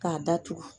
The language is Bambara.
K'a datugu